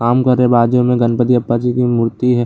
काम कर रहे हैं बाजू मे गणपती अप्पा जी की मूर्ति है।